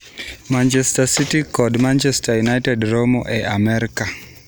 Manchester City kod Manchester United romo e Amerka